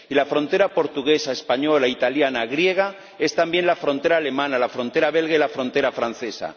Y la frontera portuguesa, española, italiana, griega es también la frontera alemana, la frontera belga y la frontera francesa